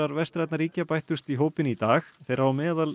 vestrænna ríkja bættust í hópinn í dag þeirra á meðal